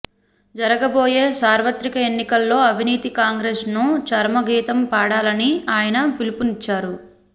జరగబోయే సార్వత్రిక ఎన్నికల్లో అవినీతి కాంగ్రెస్ కు చరమ గీతం పాడాలని ఆయన పిలుపునిచ్చారు